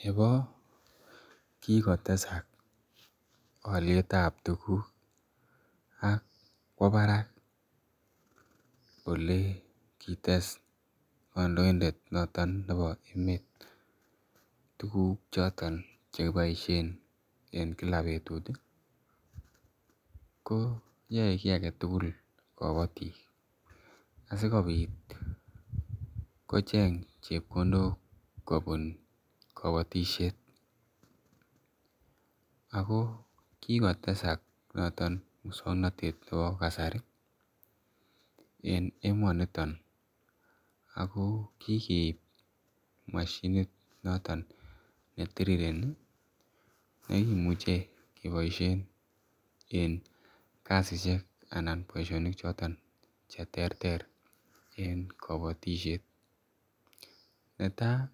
Nebo kikotesak alietab tukuk akwo barak olikites kandoindet noton nebo emeet tuguk choton chekiboisien en Kila betut ih, ko yae ki agetugul kabatik asikobit kocheng chebkondok kobun kabatisiet Ako kikotesak mukswanotet nebo kasari en emoniton ago , ako kikeib mashinit noton netiriereni , negimuche keboisien en kasisiek anan boisionik choton cheterter, en kabatisiet netai